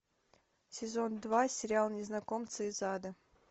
сезон два сериал незнакомцы из ада